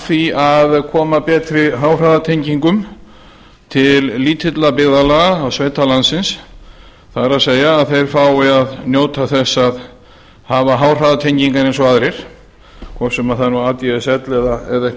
því að koma betri háhraðatengingum til lítilla byggðalaga og sveita landsins það er að þeir fái að njóta þess að hafa háhraðatengingar eins og aðrir hvort sem það er nú adsl